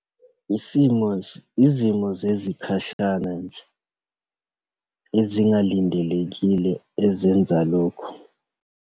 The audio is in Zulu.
Isimo , izimo zezikhashana nje ezingalindelekile ezenza lokho.